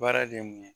Baara de ye mun ye